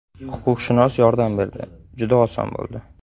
Huquqshunos yordam berdi, juda oson bo‘ldi.